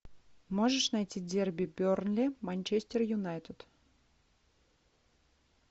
можешь найти дерби бернли манчестер юнайтед